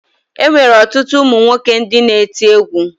E nwere ọtụtụ ụmụ nwoke ndị na-eti egwu